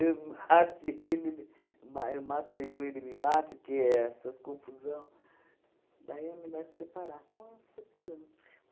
eu mate ele, ele ma eu mato ele ou ele me mate, porque essas confusões... Daí é melhor se separar. Nós separamos.